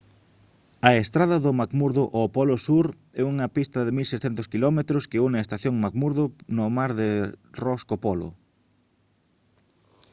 a estrada de mcmurdo ao polo sur é unha pista de 1600 km que une a estación mcmurdo no mar de ross co polo